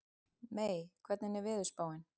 Mey, hvernig er veðurspáin?